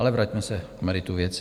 Ale vraťme se k meritu věci.